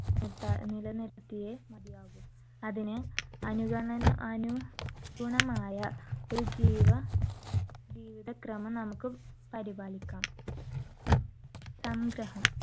നിർത്താ~നിലനിർത്തിയേ മതിയാവൂ. അതിന് അനുഗണന ~അനുഗുണമായ ഒരു ജീവ~ജീവിതക്രമം നമുക്ക് പരിപാലിക്കാം. സംഗ്രഹം